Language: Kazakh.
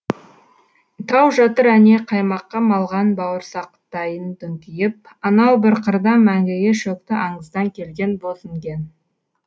тау жатыр әне қаймаққа малған бауырсақтайын дүңкиіп анау бір қырда мәңгіге шөкті аңыздан келген бозінген